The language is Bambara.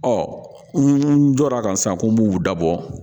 Ɔ n jɔra a kan sisan ko n b'u dabɔ